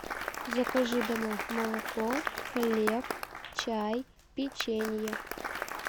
закажи домой молоко хлеб чай печенье